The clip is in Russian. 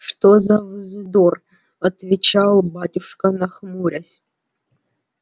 что за вздор отвечал батюшка нахмурясь